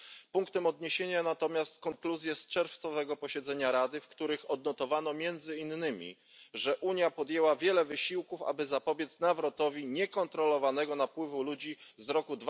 Punktem odniesienia natomiast konkluzje z czerwcowego posiedzenia Rady, w których odnotowano między innymi, że Unia podjęła wiele wysiłków, aby zapobiec nawrotowi niekontrolowanego napływu ludzi z roku